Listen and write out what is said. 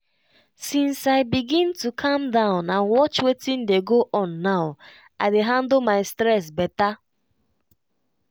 since i begin to calm down and watch wetin dey go on now i dey handle my stress better.